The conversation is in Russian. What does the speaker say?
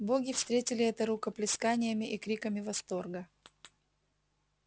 боги встретили это рукоплесканиями и криками восторга